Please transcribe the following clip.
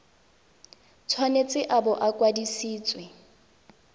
tshwanetse a bo a kwadisitswe